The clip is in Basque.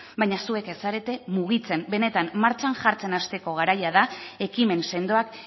baina zuek ez zarete mugitzen benetan martxan jartzen hasteko garaia da ekimen sendoak